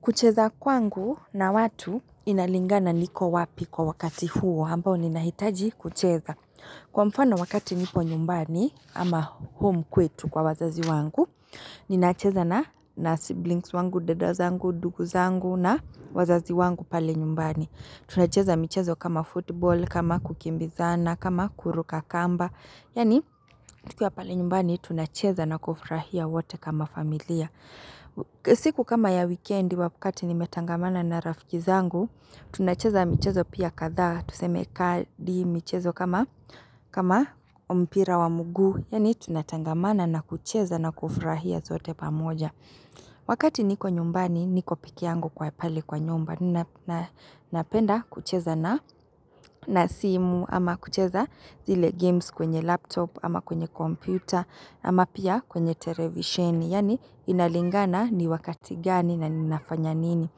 Kucheza kwangu na watu inalingana niko wapi kwa wakati huo, ambao ninahitaji kucheza. Kwa mfano wakati nipo nyumbani ama home kwetu kwa wazazi wangu, ninacheza na siblings wangu, dada zangu, dugu zangu na wazazi wangu pale nyumbani. Tunacheza michezo kama football, kama kukimbizana, kama kuruka kamba. Yani tukiwa pale nyumbani tunacheza na kufrahia wate kama familia. Siku kama ya weekendi wakati nimetangamana na rafiki zangu tunacheza mchezo pia kadhaa Tuseme kadi michezo kama mpira wa mguu Yani tunatangamana na kucheza na kufurahia zote pamoja Wakati niko nyumbani niko pekee yangu kwa pale kwa nyumba Ninapenda kucheza na simu ama kucheza zile games kwenye laptop ama kwenye kompyuta ama pia kwenye televisheni Yani inalingana ni wakati gani na ninafanya nini.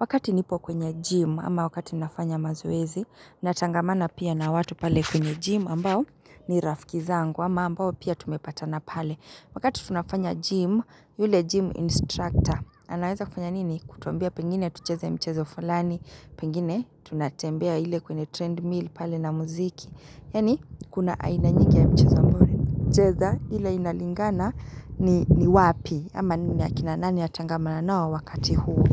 Wakati nipo kwenye gym ama wakati ninafanya mazoezi. Natangamana pia na watu pale kwenye gym ambao ni rafiki zangu ama ambao pia tumepatana pale. Wakati tunafanya gym yule gym instructor. Anaweza kufanya nini kutuambia pengine tucheze mchezo fulani. Pengine tunatembea ile kwenye treadmill pale na muziki. Yani kuna aina nyingi ya mchezo ambayo ninacheza ile inalingana ni wapi ama ni akina nani natangamana nao wakati huu.